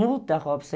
Muda, Robson.